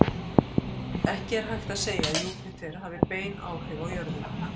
Ekki er hægt að segja að Júpíter hafi bein áhrif á jörðina.